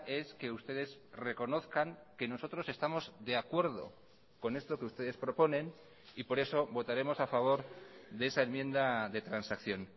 es que ustedes reconozcan que nosotros estamos de acuerdo con esto que ustedes proponen y por eso votaremos a favor de esa enmienda de transacción